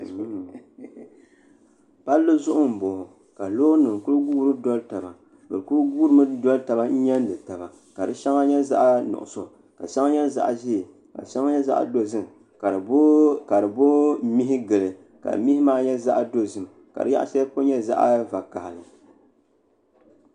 palli zuɣu n boŋo ka loori nim ku guuri doli taba bi ku guuri mi doli tabi n nyɛndi taba ka shɛŋa nyɛ zaɣ nuɣso ka shɛŋa nyɛ zaɣ nuɣso ka shɛŋa nyɛ zaɣ dozim ka di booi mihi gili ka mihi maa nyɛ zaɣ dozim kadi yaɣa shɛli polo nyɛ zaɣ vakaɣali